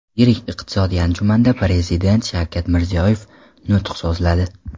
Yirik iqtisodiy anjumanda Prezident Shavkat Mirziyoyev nutq so‘zladi.